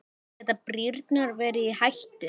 Geta brýrnar verið í hættu?